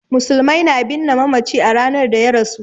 Musulmai na binne mamaci a ranar da ya rasu.